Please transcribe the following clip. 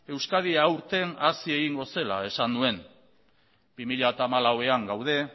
euskadi aurten hazi egingo zela esan nuen bi mila hamalauean gaude